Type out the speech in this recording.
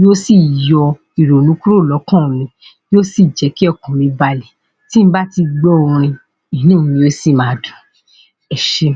yóó sì yọ ìrònú kúrò lọ́kàn mi,, yóó sì jẹ́ kí ọkàn mi balẹ̀. Tí n bá ti gbọ́ orin, inú mi yóó sì máa dùn. Ẹ ṣé.